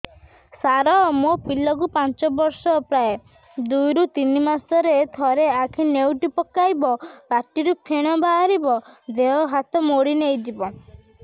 ସାର ମୋ ପିଲା କୁ ପାଞ୍ଚ ବର୍ଷ ପ୍ରାୟ ଦୁଇରୁ ତିନି ମାସ ରେ ଥରେ ଆଖି ନେଉଟି ପକାଇବ ପାଟିରୁ ଫେଣ ବାହାରିବ ଦେହ ହାତ ମୋଡି ନେଇଯିବ